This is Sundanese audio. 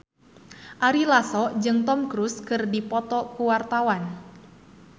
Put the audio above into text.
Ari Lasso jeung Tom Cruise keur dipoto ku wartawan